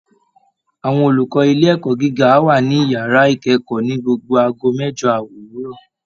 Àwọn olùkọ́ ilé ẹ̀kọ́ gíga á wà ní yàrá ìkẹ́kọ̀ọ́ ní gbogbo aago mẹ́jo òwúrọ̀